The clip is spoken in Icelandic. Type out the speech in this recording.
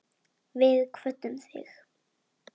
Við kvöddum þig.